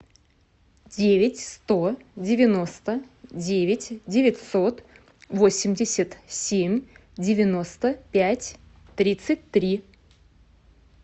девять сто девяносто девять девятьсот восемьдесят семь девяносто пять тридцать три